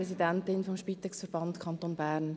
Ich bin Präsidentin des Spitex-Verbands Kanton Bern.